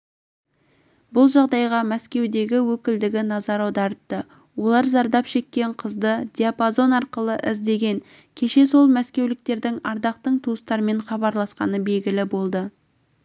бұл жағдайға мәскеудегі өкілдігі назар аударыпты олар зардап шеккен қызды диапазон арқылы іздеген кеше сол мәскеуліктердің ардақтың туыстарымен хабарласқаны белгілі болды